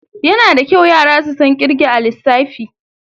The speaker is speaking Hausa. Yana da kyau yara su san kirge a lissafi.